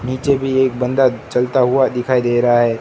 नीचे भी एक बंदा चलता हुआ दिखाई दे रहा है।